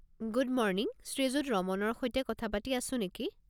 Good morning, শ্ৰীযুত ৰমনৰ সৈতে কথা পাতি আছো নেকি?